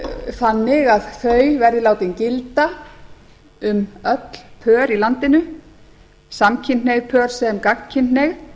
þannig að þau verði látin gilda um öll pör í landinu samkynhneigð pör sem gagnkynhneigð